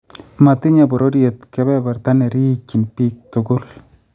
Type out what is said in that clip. Matinye bororyet kebebertab nerikyiin biik tugul